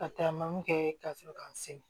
Ka taa man kɛ kasɔrɔ k'an se